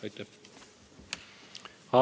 Aitäh!